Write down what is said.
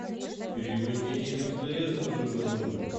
перевод денег мтс на другой номер